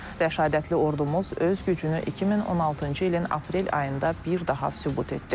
Rəşadətli ordumuz öz gücünü 2016-cı ilin aprel ayında bir daha sübut etdi.